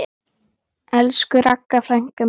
Elsku Ragga frænka mín.